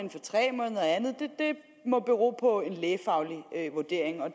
og andet det må bero på en lægefaglig vurdering